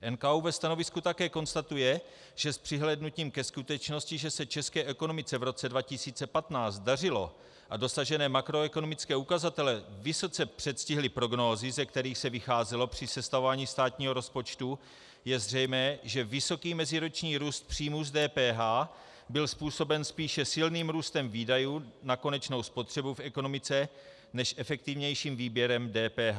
NKÚ ve stanovisku také konstatuje, že s přihlédnutím ke skutečnosti, že se české ekonomice v roce 2015 dařilo a dosažené makroekonomické ukazatele vysoce předstihly prognózy, ze kterých se vycházelo při sestavování státního rozpočtu, je zřejmé, že vysoký meziroční růst příjmů z DPH byl způsoben spíše silným růstem výdajů na konečnou spotřebu v ekonomice než efektivnějším výběrem DPH.